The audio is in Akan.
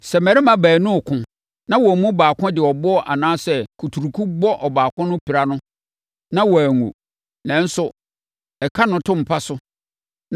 “Sɛ mmarima baanu reko na wɔn mu baako de ɛboɔ anaa kuturuku bɔ ɔbaako no pira no, na wanwu, nanso ɛka no to mpa so,